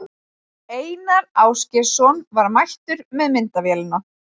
Einar Ásgeirsson var mættur með myndavélina.